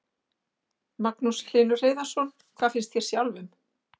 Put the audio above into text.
Magnús Hlynur Hreiðarsson: Hvað finnst þér sjálfum?